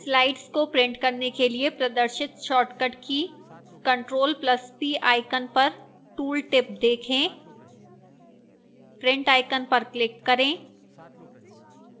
slides को print करने के लिए प्रदर्शित shortcut की control plus p icon पर tooltip देखें print icon पर क्लिक करें